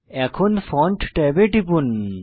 এখন ফন্ট ট্যাবে টিপুন